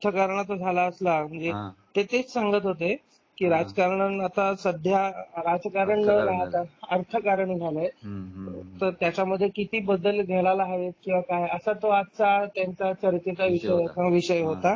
झाला असला. म्हणजे ते तेच सांगत होते की राजकारण आता सध्या राजकारण न राहता अर्थकारण झालंय. हम्म त्यामध्ये किती बदल घडायला हवेत किव्हा काय .असा तो आजचा त्यानंतरचा चर्चेचा विषय होता.